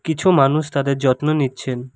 কিছু মানুষ তাদের যত্ন নিচ্ছেন।